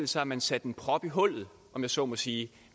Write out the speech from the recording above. sig at man satte en prop i hullet om jeg så må sige